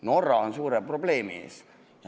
Norra on suure probleemi ees.